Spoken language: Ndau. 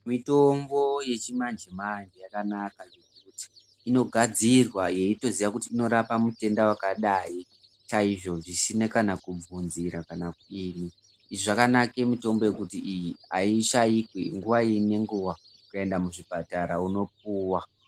Mitombo yechimanje manje yakanaka zvekuti. Inogadzirwa yeyitoziya kuti inorapa mutenda wakadayi, chayizvo , zvisina kana kubvunzira kana kudini . Izvi zvakanake mitombo yekuti iyi, ayishayikwi, nguwa inenguwa. Ukayenda muzvipatara unopuwa.